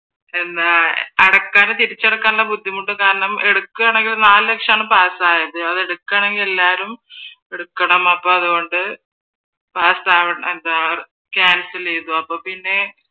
അടക്കാതെ എടുത്താൽ തിരിച്ചടക്കാനുള്ള ബുദ്ധിമുട്ട് കാരണം എടുക്കുവാണെങ്കിലും നാല് ലക്ഷം ആണ് പാസ് ആയത് അതെടുക്കാണെങ്കിൽ എല്ലാവരും എടുക്കണം അപ്പൊ അതുകൊണ്ട് ക്യാൻസൽ ചെയ്തു അപ്പൊ പിന്നെ